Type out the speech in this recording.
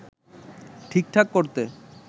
ঠিকঠাক করতে